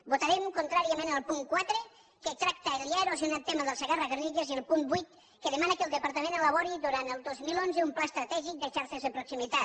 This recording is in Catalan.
votarem contràriament el punt quatre que tracta el ja erosionat tema del segarra garrigues i el punt vuit que demana que el departament elabori durant el dos mil onze un pla estratègic de xarxes de proximitat